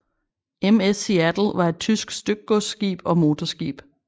MS Seattle var et tysk stykgodsskib og motorskib